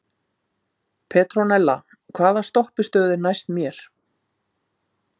Petrónella, hvaða stoppistöð er næst mér?